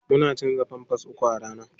Muna canza pampers uku a rana.